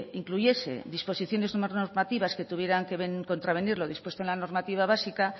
incluyese disposiciones o normativas tuvieran que contravenir lo dispuesto en la normativa básica